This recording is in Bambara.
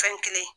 Fɛn kelen